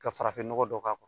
Ka farafin nɔgɔ dɔ k'a kɔrɔ.